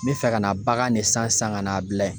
N bɛ fɛ ka na bagan de san san ka na bila yen.